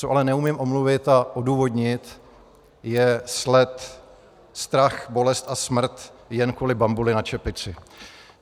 Co ale neumím omluvit a odůvodnit, je sled strach, bolest a smrt jen kvůli bambuli na čepici.